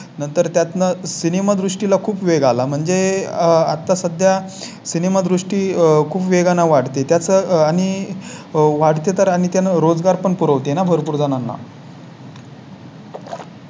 नंतर त्यात On cinema दृष्टी ला खूप वेग आला. म्हणजे आता सध्या सिनेमा दृष्टी खूप वेगानं वाढते त्याच आणि वाढते तर आणि त्यांना रोजगार पुर वते ना भरपूर जणांना.